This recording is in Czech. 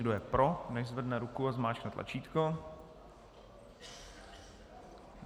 Kdo je pro, nechť zvedne ruku a zmáčkne tlačítko.